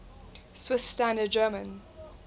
swiss standard german